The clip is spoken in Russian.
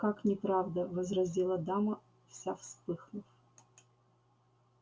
как неправда возразила дама вся вспыхнув